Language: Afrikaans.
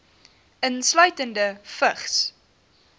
insluitende vigs